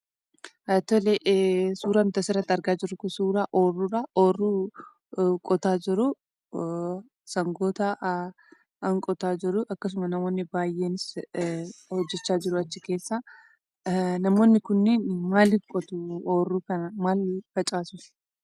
Tole, suuraan nuti asirratti argaa jirru kun suuraa ooyiruudha; ooyiruu qotaa jiru. Sangootaan qotaa jiru. Akkasuma namoonni baay'een hojjechaa jiru achi keessa. Namoonni kunneen maaliif qotu ooyiruu kana? Maal facaasus?